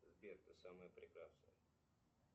сбер ты самая прекрасная